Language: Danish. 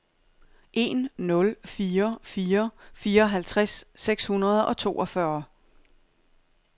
en nul fire fire fireoghalvtreds seks hundrede og toogfyrre